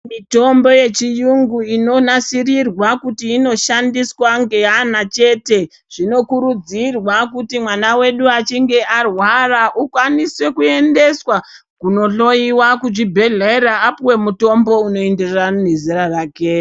Mitombo yechiyungu inonasirirwe kuti inoshandiswa ngeana chete zvinokurudzirwa kuti mwana wedu achinge arwara ukwanise kuendeswa kuno hloiwa kuchibhedhlera apuwe mutombo unoenderana nezera rake.